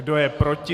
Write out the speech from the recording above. Kdo je proti?